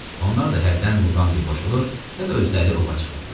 Onlar da hərdən Muqambiyə qoşulur, ya da özləri ova çıxırdılar.